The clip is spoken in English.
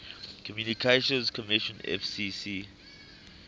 communications commission fcc